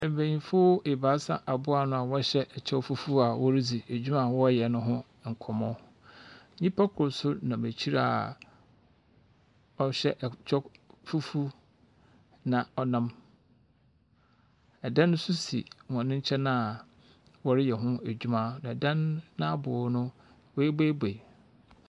Mbenyimfo ebaasa aboa ano a wɔhyɛ kyɛw fufuo a woridzi edwuma a wɔreyɛ no ho nkɔmmɔ. Nyimpa kor nso nam ekyir a ɔhyɛ ɛkyɛw fufuw, na ɔnam dan nso si hɔn nkyɛn a wɔreyɛ ho edwuma, na dan n'abow no, woebuebue.